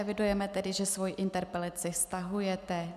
Evidujeme tedy, že svou interpelaci stahujete.